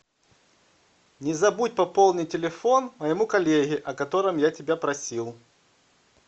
не забудь пополнить телефон моему коллеге о котором я тебя просил